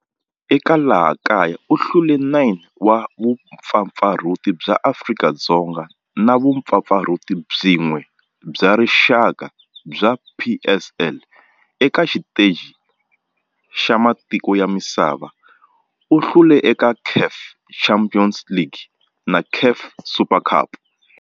Eka laha kaya u hlule 9 wa vumpfampfarhuti bya Afrika-Dzonga na vumpfampfarhuti byin'we bya rixaka bya NSL. Eka xiteji xa matiko ya misava, u hlule eka CAF Champions League na CAF Super Cup.